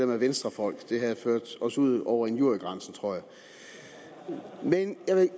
med venstrefolk det havde ført os ud over injuriegrænsen tror jeg men jeg